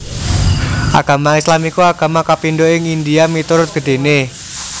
Agama Islam iku agama kapindho ing India miturut gedhéné